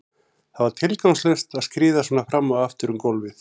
Það var tilgangslaust að skríða svona fram og aftur um gólfið.